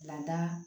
Lada